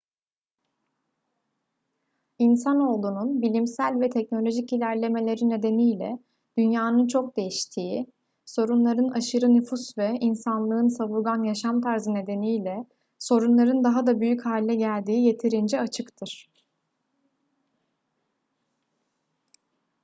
i̇nsanoğlunun bilimsel ve teknolojik ilerlemeleri nedeniyle dünyanın çok değiştiği sorunların aşırı nüfus ve insanlığın savurgan yaşam tarzı nedeniyle sorunların daha da büyük hale geldiği yeterince açıktır